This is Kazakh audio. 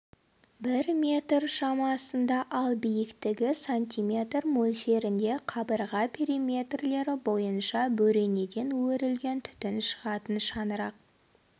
бір метр шамасында ал биіктігі сантиметр мөлшерінде қабырға периметрлері бойынша бөренеден өрілген түтін шығатын шаңырақ